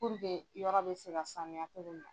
Purke yɔrɔ bɛ se ka sanuya cogo min na.